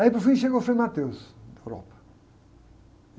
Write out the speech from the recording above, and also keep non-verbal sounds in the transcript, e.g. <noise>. Aí, por fim, chega o Frei <unintelligible> da Europa.